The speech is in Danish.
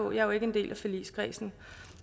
er jo ikke en del af forligskredsen